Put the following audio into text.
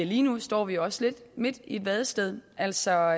lige nu står vi også lidt midt i et vadested altså